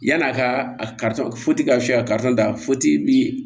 Yann'a ka a karisa ka se ka karisa da